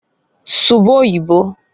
"Suba oyibo".